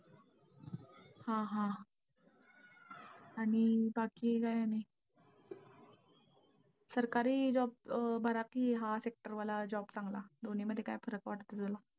हा हा. आणि बाकी काय सरकारी job बरा, कि हा sector वाला job चांगला? दोन्ही मध्ये काय फरक वाटतोय तुला?